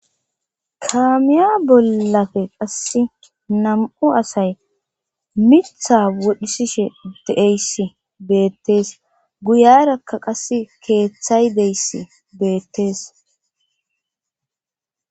kaamiya bollafe qasse nam7u asay mirtha wodhisishe deeyss beettees guyarakka qasse keeththay deyss beettees